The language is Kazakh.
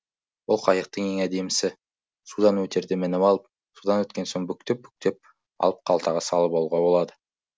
бұл қайықтын ең әдемісі судан өтерде мініп алып судан өткен соң бүктеп бүктеп алып қалтаға салып алуға болады